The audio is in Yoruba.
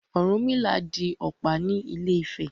Ọ̀rúnmìlà di ọ̀pá ní Ifẹ̀.